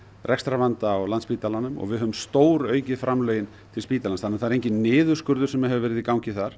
rekstrarvanda á Landspítalanum og við höfum stóraukið framlögin til spítalans þannig það er enginn niðurskurður sem hefur verið í gangi þar